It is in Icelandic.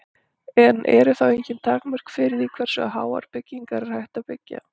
En eru þá engin takmörk fyrir því hversu háar byggingar er hægt að byggja?